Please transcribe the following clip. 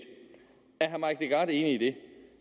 herre mike legarth enig i det